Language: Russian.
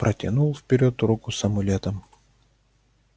протянул вперёд руку с амулетом